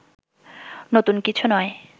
নতুন কিছু নয়